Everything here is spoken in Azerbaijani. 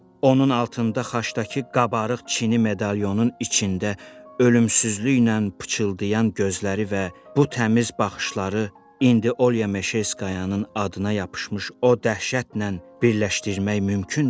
Onun altında xaçdakı qabarıq çini medalonun içində ölümsüzlüklə pıçıldayan gözləri və bu təmiz baxışları indi Olya Meşerskoyanın adına yapışmış o dəhşətlə birləşdirmək mümkündürmü?